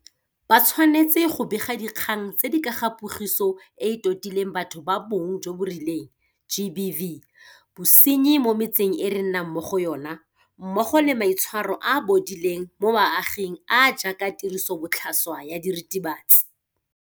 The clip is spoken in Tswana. Ba tshwanetse go bega dikgang tse di ka ga Pogiso e e Totileng Batho ba Bong jo bo Rileng GBV, bosenyi mo metseng e re nnang mo go yona mmogo le maitshwaro a a bodileng mo baaging a a jaaka tirisobotlhaswa ya diritibatsi.